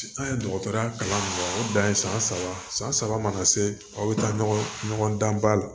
An ye dɔgɔtɔrɔya kalan mun kɛ o dan ye san saba san saba mana se aw bɛ taa ɲɔgɔn dan ba la